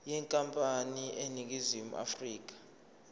yenkampani eseningizimu afrika